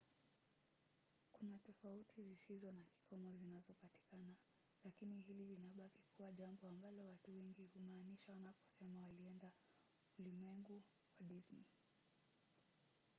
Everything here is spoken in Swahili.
kuna tofauti zisizo na kikomo zinazopatikana lakini hili linabaki kuwa jambo ambalo watu wengi humaanisha wanaposema wanaenda ulimwengu wa disney”.